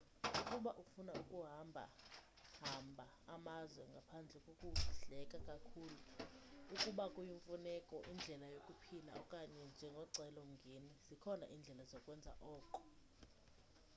ukuba ufuna ukuhamba hamba amazwe ngaphandle kokudleka kakhulu ukuba kuyimfuneko indlela yokuphila okanye njengocelo mngeni zikhona iindlela zokwenza oko